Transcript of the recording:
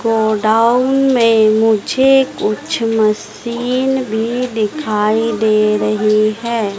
Godown में मुझे कुछ मशीन भी दिखाई दे रही हैं।